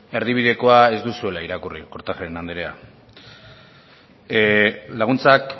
erdibidekoa ez duzuela irakurri kortajarena andrea laguntzak